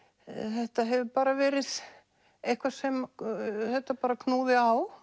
þetta hefur bara verið eitthvað sem knúði á